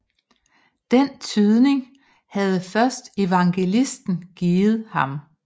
Den tydning havde først evangelisten givet ham